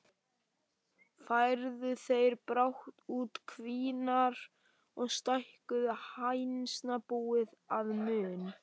Færðu þeir brátt út kvíarnar og stækkuðu hænsnabúið að mun.